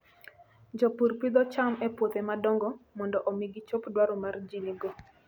Jopur pidho cham e puothe madongo mondo omi gichop dwaro ma ji nigo.